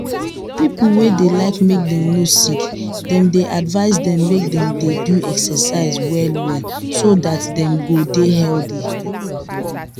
people wey dey like make them no sickthem dey advise dem make dey do excercise well well so that them go dey healthy